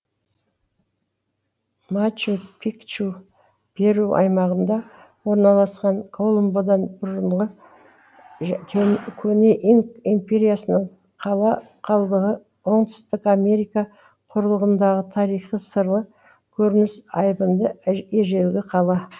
мачу пикчу перу аймағында орналасқан колумбдан бұрынғы көне инк империясының қала қалдығы оңтүстік америка құрлығындағы тарихы сырлы көрініс айбынды ежелгі қала